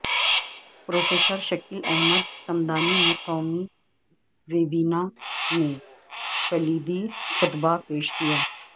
professor Shakeel Ahmed Samdani نے قومی webinar میں کلیدی خطبہ پیش کیا